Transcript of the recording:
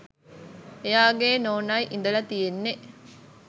එයාගෙ නෝනයි ඉඳල තියෙන්නෙ